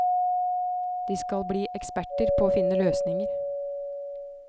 De skal bli eksperter på å finne løsninger.